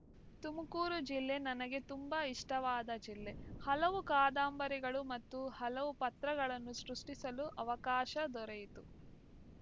ತುಮಕೂರು ಜಿಲ್ಲೆ ನನಗೆ ತುಂಬಾ ಇಷ್ಟವಾದ ಜಿಲ್ಲೆ ಹಲವು ಕಾದಾಂಬರಿಗಳು ಮತ್ತು ಹಲವು ಪಾತ್ರಗಳನ್ನು ಸೃಷ್ಟಿಸಲು ಅವಕಾಶ ದೊರೆಯಿತು